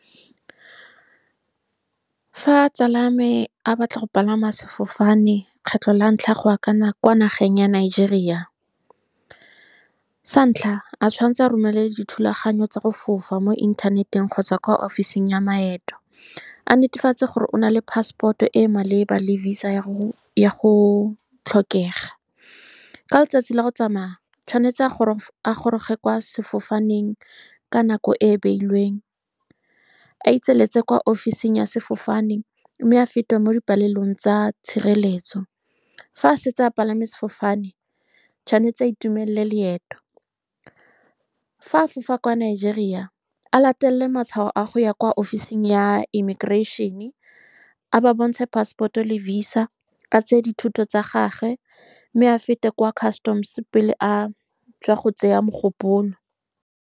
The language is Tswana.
Fa tsala ya me a batla go palama sefofane lekgetlho la ntlha go ya kwa nageng ya Nigeria, sa ntlha o tshwanetse a romele dithulaganyo tsa go fofa mo inthaneteng kgotsa kwa office-ing ya maeto, a netefatse gore o nale passport-o e e maleba le visa ya go tlhokega. Ka letsatsi la go tsamaya, o tshwanetse a goroge kwa sefofaneng ka nako e e beilweng a kwa office-ing ya sefofane, mme a fete mo dipalelong tsa tshireletso. Fa a setse a palame sefofane, o tshwanetse a itumelele loeto. Fa a fofa kwa Nigeria, a latelele matshwao a go ya kwa office-ing ya immigration-e, a ba bontshe passport-o le visa, a tseye dithoto tsa gagwe mme a fete kwa customs-e pele a tswa go tšea mogopolo.